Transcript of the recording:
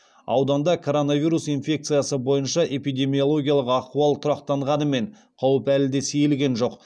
ауданда коронавирус инфекциясы бойынша эпидемиологиялық ахуал тұрақтанғанымен қауіп әлі де сейілген жоқ